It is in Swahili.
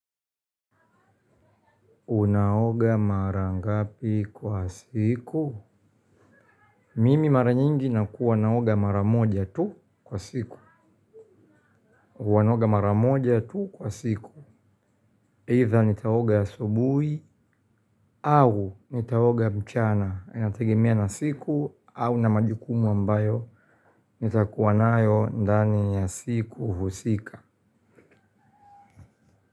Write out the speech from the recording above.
Unaoga mara ngapi kwa siku? Mimi mara nyingi nakuwa naoga mara moja tu kwa siku. Huwa naoga mara moja tu kwa siku. Either nitaoga asubuhi au nitaoga mchana. Inategemea na siku au na majukumu ambayo. Nitakuwa nayo ndani ya siku husika.